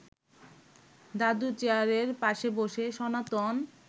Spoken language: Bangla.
দাদুর চেয়ারের পাশে বসে সনাতন